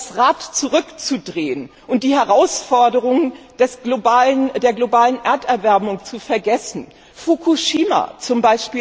Das Rad zurückzudrehen und die Herausforderungen der globalen Erderwärmung zu vergessen, Fukushima z.